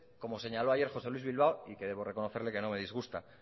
como señaló ayer josé luís bilbao y que debo reconocerle que me disgusta